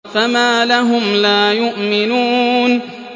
فَمَا لَهُمْ لَا يُؤْمِنُونَ